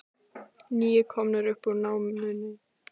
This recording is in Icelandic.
Níu komnir upp úr námunni